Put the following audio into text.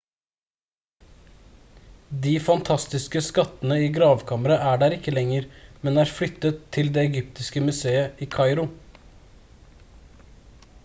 de fantastiske skattene i gravkammeret er der ikke lenger men er flyttet til det egyptiske museet i kairo